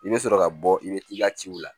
I bɛ sɔrɔ ka bɔ i bɛ t'i ka ciw la